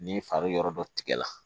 Ni fari yɔrɔ dɔ tigɛra